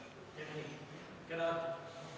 Istungi lõpp kell 22.20.